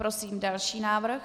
Prosím další návrh.